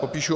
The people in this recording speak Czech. Popíšu.